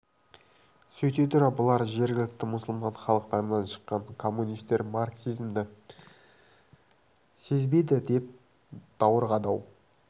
сөйте тұра бұлар жергілікті мұсылман халықтарынан шыққан коммунистер марксизмді сезбейді деп даурығады-ау